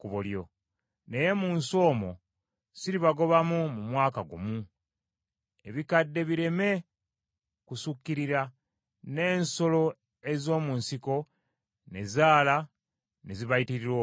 Naye mu nsi omwo siribagobamu mu mwaka gumu, ebikande bireme kusukkirira, n’ensolo ez’omu nsiko ne zaala ne zibayitirira obungi.